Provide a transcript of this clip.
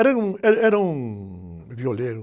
Era um, era, era um violeiro.